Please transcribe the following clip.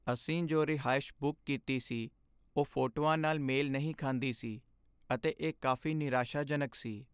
ਅਸੀਂ ਜੋ ਰਿਹਾਇਸ਼ ਬੁੱਕ ਕੀਤੀ ਸੀ ਉਹ ਫੋਟੋਆਂ ਨਾਲ ਮੇਲ ਨਹੀਂ ਖਾਂਦੀ ਸੀ, ਅਤੇ ਇਹ ਕਾਫ਼ੀ ਨਿਰਾਸ਼ਾਜਨਕ ਸੀ।